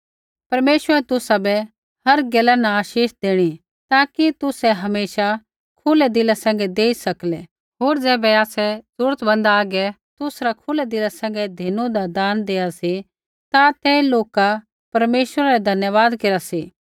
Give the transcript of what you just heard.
परमेश्वर तुसाबै हर गैला न आशीष देणी ताकि तुसै हमेशा खुलै दिला सैंघै देई सकलै होर ज़ैबै आसै ज़रूरतमंदा हागै तुसरा खुलै दिला सैंघै धिनुदा दान देआ सी ता तै लोका परमेश्वरै रा धन्यवाद केरा सी